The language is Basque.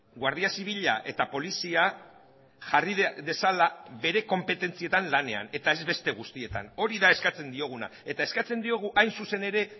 guardia zibila eta polizia jarri dezala bere konpetentzietan lanean eta ez beste guztietan hori da eskatzen dioguna eta eskatzen diogu hain zuzen ere